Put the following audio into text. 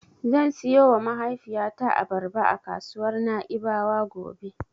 Zan siyowa mahaifiyata Abarba a kasuwar Na'ibawa gobe.